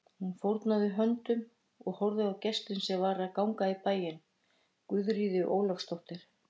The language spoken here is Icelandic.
Hún fórnaði höndum og horfði á gestinn sem var að ganga í bæinn, Guðríði Ólafsdóttur.